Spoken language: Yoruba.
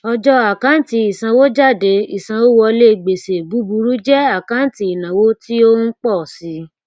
ọjọ àkáǹtì ìsanwójádé ìsanwówọlé gbèsè búburú jẹ àkáǹtì ìnáwó tí ó ń pọ sí